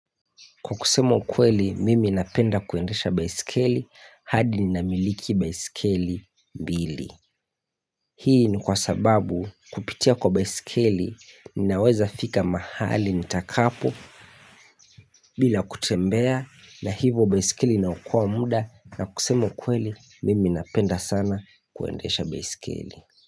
Kwa kusema ukweli mimi napenda kuendesha baisikeli hadi ninamiliki baisikeli mbili. Hii ni kwa sababu kupitia kwa baisikeli ninaweza fika mahali nitakapo bila kutembea na hivo baisikeli inaokoa muda na kusema ukweli mimi napenda sana kuendesha baisikeli.